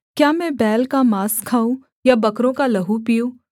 क्या मैं बैल का माँस खाऊँ या बकरों का लहू पीऊँ